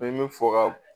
I bɛ fɔ ka